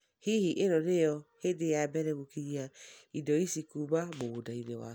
Hihi ĩno ni yo hĩndĩ ya mbere ngũkinyia indo ici kuuma mũgũnda waku?